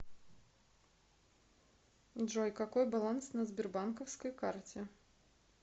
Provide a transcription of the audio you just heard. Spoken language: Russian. джой какой баланс на сбербанковской карте